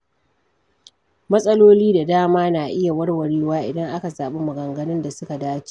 Matsaloli da dama na iya warwarewa idan aka zaɓi maganganun da suka dace.